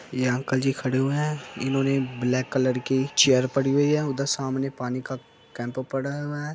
ये अंकल जी खड़े हुए है। इन्होंने ब्लैक कलर की चेयर पड़ी हुई है। उधर सामने पानी का कैम्पा पड़ा हुआ है।